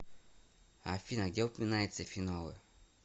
афина где упоминается фенолы